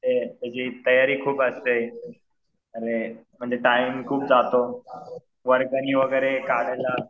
ते त्याची तयारी खूप असते. आणि म्हणजे टाइम खूप जातो. वर्गणी वगैरे काढायला